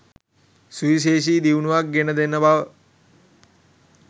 සුවිශේෂී දියුණුවක් ගෙන දෙන බව